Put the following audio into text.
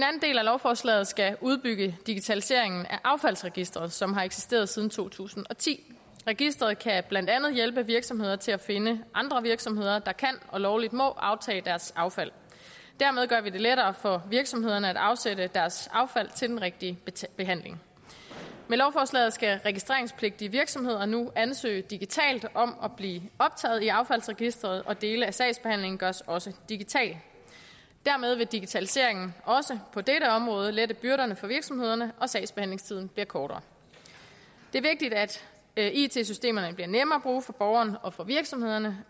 lovforslaget skal udbygge digitaliseringen af affaldsregistret som har eksisteret siden to tusind og ti registeret kan blandt andet andet hjælpe virksomheder til at finde andre virksomheder der kan og lovligt må aftage deres affald dermed gør vi det lettere for virksomhederne at afsætte deres affald til den rigtige behandling med lovforslaget skal registreringspligtige virksomheder nu ansøge digitalt om at blive optaget i affaldsregistret og dele af sagsbehandlingen gøres også digital dermed vil digitaliseringen også på dette område lette byrderne for virksomhederne og sagsbehandlingstiden bliver kortere det er vigtigt at at it systemerne bliver nemme at bruge for borgerne og for virksomhederne